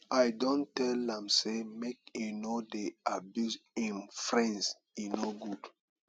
i don tell am sey make e no dey abuse im friends e no good